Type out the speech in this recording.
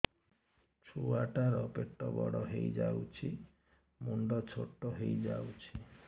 ଛୁଆ ଟା ର ପେଟ ବଡ ହେଇଯାଉଛି ମୁଣ୍ଡ ଛୋଟ ହେଇଯାଉଛି